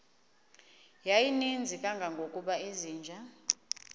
yayininzi kangangokuba izinja